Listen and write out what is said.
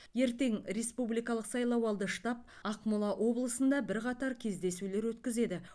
ертең республикалық сайлауалды штаб ақмола облысында бірқатар кездесулер өткізеді